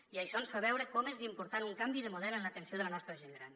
i això ens fa veure com és d’important un canvi de model en l’atenció de la nostra gent gran